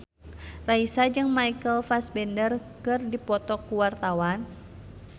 Raisa jeung Michael Fassbender keur dipoto ku wartawan